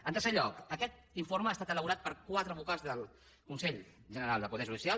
en tercer lloc aquest informe ha estat elaborat per quatre vocals del consell general del poder judicial